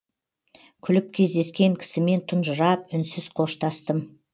күліп кездескен кісімен тұнжырап үнсіз қоштастым